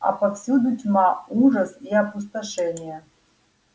а повсюду тьма ужас и опустошение